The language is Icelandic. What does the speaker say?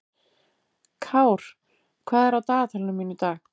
Kár, hvað er á dagatalinu mínu í dag?